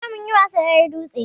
Jiya munyi wasan ƴar carabke